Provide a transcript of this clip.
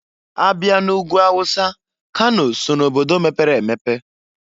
Abịa n'Ugwu Hausa, kano so na obodo mepere emepe.